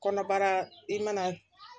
Kɔnɔbara i mana